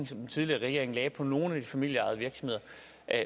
som den tidligere regering lagde på nogle af de familieejede virksomheder